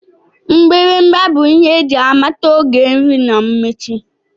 Mgbịrịgba bụ ihe eji amata oge nri na mmechi